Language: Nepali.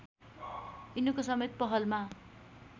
यिनको समेत पहलमा